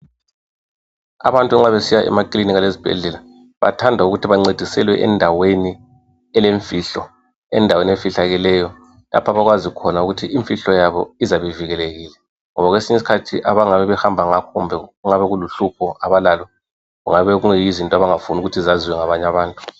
Abantu nxa besiya emakilinika lezibhedlela bathanda ukuthi bancediselwe endaweni elemfihlo endaweni efihlakeleyo lapha abakwazi khona ukuthi imfihlo yabo izabe ivikelekile ngoba ngokwesinye iskhathi abangabe behamba kumbe okungabe kuluhlupho abalalo kungabe kuyizinto abangafuni ukuthi zaziwe ngabanye abantu.